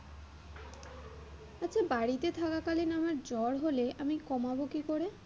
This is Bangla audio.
বাড়িতে থাকালালিন আমার জ্বর হলে আমি কমাবো কি করে?